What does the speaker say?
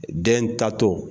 Den taato